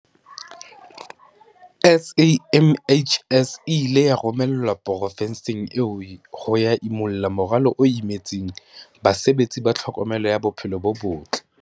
SAMHS e ile ya romelwa profenseng eo ho ya imulla morwalo o imetseng basebetsi ba tlhokomelo ya bophelo bo botle.